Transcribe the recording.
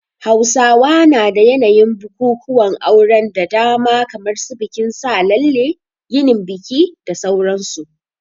Hausawa na da yanayin bukukuwan auren da dama kamar su bikin sa lalle, yinin biki da sauran su.